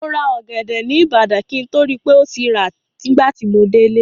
Mo ra ọ̀gẹ̀dẹ̀ ní ìbàdàn, kí n tó rí pé ó ti rà nígbà tí mo délé.